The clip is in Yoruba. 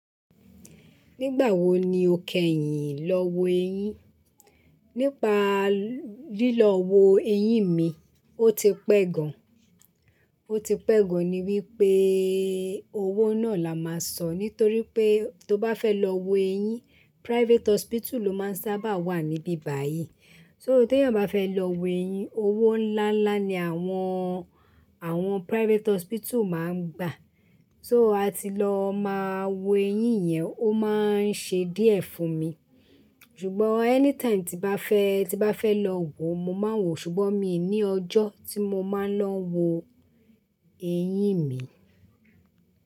Nígbà wo ni o kẹyìn lọ wo eyín? Nípa lílọ wo eyín mi, ó ti pẹ́ gan. Ó ti pẹ́ gan ni wípé owó náà la máa san nítorí pé tó bá fẹ́ lọ wo eyín, private hospital ló máa ń sábà wà níbí báyìí. So ti èeyàn bá fẹ́ lọ wo eyín, owó ńlá ńlá ni àwọn, àwọn private hospital máa ń gbà. So a ti lọ máa wo eyín yẹn, ó máa ń ṣe díẹ̀ fún mi. Ṣùgbọ́n anytime tí bá fẹ́, tí bá fẹ́ lọ wo, mo máa ń wo, ṣùgbọ́n mi ò ní ọjọ́ tí mo máa ń lọ wo eyín mi.